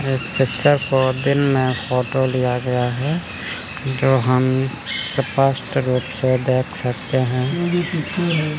Sector fourteen में photo लिया गया है जो हम स्पष्ट रूप से देख सकते हैं।